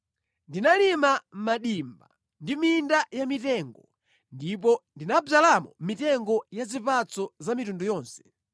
Ndinalima madimba ndi minda yamitengo; ndipo ndinadzalamo mitengo ya zipatso za mitundu yonse.